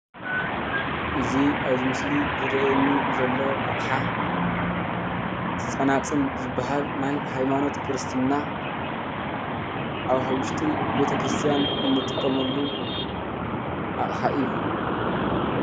እዚ ኣብዚ ምስሊ ዝርኣየኒ ዘሎ ኣቕሓ ፀናፅል ዝብሃል ናይ ሃይማኖት ክርስትና ኣብ ዉሽጢ ቤተክርስትያን እንጥቀመሉ ኣቅሓ እዩ።